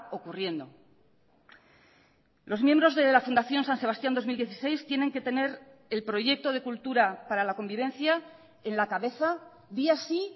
ocurriendo los miembros de la fundación san sebastián dos mil dieciséis tienen que tener el proyecto de cultura para la convivencia en la cabeza día sí